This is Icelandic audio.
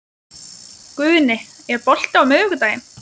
Guðni, er bolti á miðvikudaginn?